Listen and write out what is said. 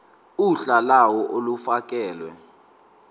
uhla lawo olufakelwe